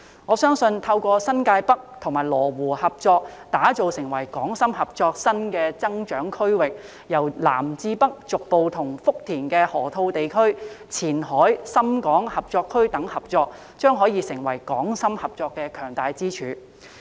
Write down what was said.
我相信，透過新界北與羅湖合作打造成為港深合作新的增長區域，由南至北逐步與福田的河套地區、前海深港合作區等合作，將可成為港深合作的強大支柱。